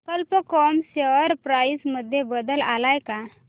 कल्प com share price मध्ये बदल आलाय का